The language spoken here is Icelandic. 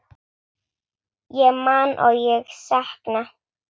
Ég man og ég sakna.